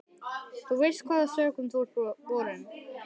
Þú veist hvaða sökum þú ert borinn.